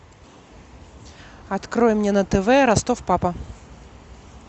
открой мне на тв ростов папа